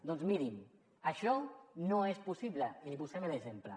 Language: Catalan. doncs miri’n això no és possible i li posem l’exemple